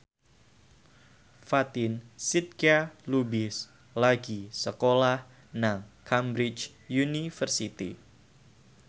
Fatin Shidqia Lubis lagi sekolah nang Cambridge University